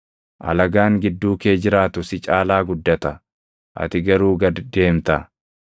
Alagaan gidduu kee jiraatu si caalaa guddata; ati garuu gad deemta.